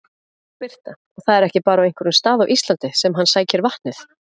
Birta: Og það er ekki bara á einhverjum stað á Íslandi sem hann sækir vatnið?